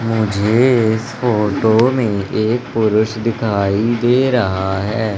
मुझे इस फोटो में एक पुरुष दिखाई दे रहा है।